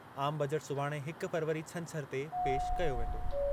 आम बजट सुभाणे हिक फ़रवरी छंछर ते पेश कयो वेंदो।